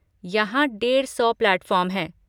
यहाँ डेड़ सौ प्लैटफॉर्म हैं।